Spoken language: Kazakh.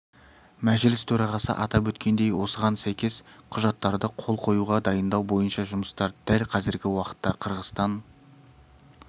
мәжіліс төрағасы атап өткендей осыған сәйкес құжаттарды қол қоюға дайындау бойынша жұмыстар дәл қазіргі уақытта қырғызстан